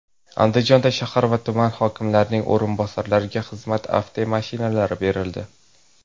Andijonda shahar va tuman hokimlarining o‘rinbosarlariga xizmat avtomashinalari berildi.